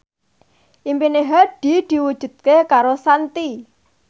impine Hadi diwujudke karo Shanti